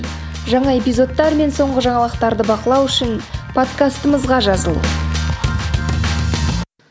жаңа эпизодтар мен соңғы жаңалықтарды бақылау үшін подкастымызға жазыл